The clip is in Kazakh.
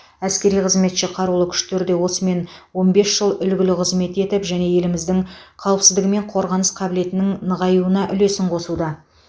әскери қызметші қарулы күштерде осымен он бес жыл үлгілі қызмет етіп және еліміздің қауіпсіздігі мен қорғаныс қабілетінің нығайтуына үлесін қосуда